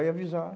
Aí